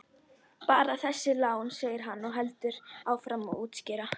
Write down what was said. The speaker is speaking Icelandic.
Bara þessi lán, segir hann og heldur áfram að útskýra.